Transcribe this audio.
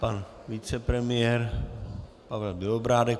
Pan vicepremiér Pavel Bělobrádek.